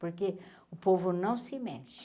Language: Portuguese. Porque o povo não se mexe.